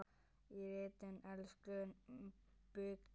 Í ritinu Íslensk bygging